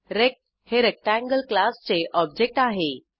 rect हे rectangle क्लासचे object आहे